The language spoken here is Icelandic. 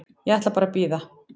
Ég ætla bara að bíða.